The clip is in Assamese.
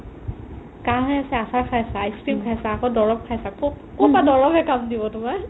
কাহে চাহ-তাহ খাইছা, ice-cream খাইছা আকৌ দৰৱ খাইছা ক'ত ক'ৰ পৰা overlap দৰৱে কাম দিব তোমাক